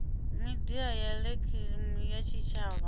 midia ya elekihironiki ya tshitshavha